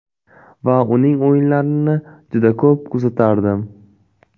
Va uning o‘yinlarini juda ko‘p kuzatardim.